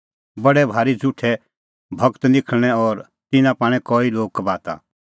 बडै भारी झ़ुठै गूर निखल़णैं और तिन्नां पाणै कई लोग कबाता